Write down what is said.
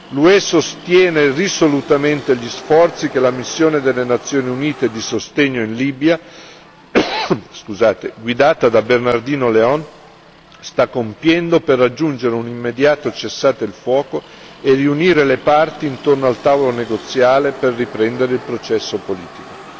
L'UE sostiene risolutamente gli sforzi che la missione delle Nazioni Unite di sostegno in Libia, guidata da Bernardino León, sta compiendo per raggiungere un immediato cessate il fuoco e riunire le parti intorno al tavolo negoziale per riprendere il processo politico.